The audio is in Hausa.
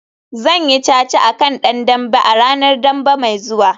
Zan yi caca a kan dan dambe a ranar Dambe mai zuwa